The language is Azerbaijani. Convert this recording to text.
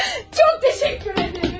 Çox təşəkkür edirəm.